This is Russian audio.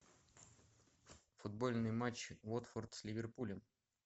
футбольный матч уотфорд с ливерпулем